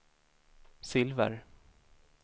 silver